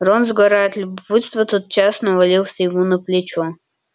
рон сгорая от любопытства тотчас навалился ему на плечо